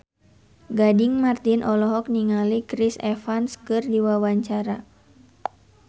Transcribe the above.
Gading Marten olohok ningali Chris Evans keur diwawancara